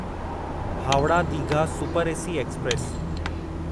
Howrah Digha super AC express